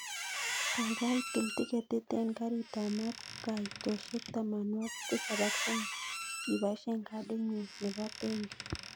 Kaigai til tiketit en karit ap maat kaitoshek tamanwogik tisab ak somok ibaishen kadit nyun nepo benki